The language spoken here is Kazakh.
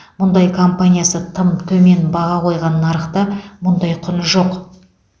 мұнай компаниясы тым төмен баға қойған нарықта мұндай құн жоқ